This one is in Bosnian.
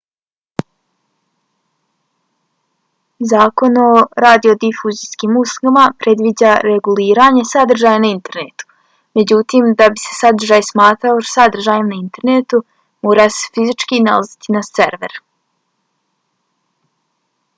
zakon o radiodifuzijskim uslugama predviđa reguliranje sadržaja na internetu. međutim da bi se sadržaj smatrao sadržajem na internetu mora se fizički nalaziti na serveru